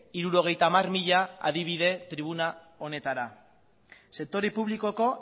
hirurogeita hamar mila adibide tribuna honetara sektore publikoko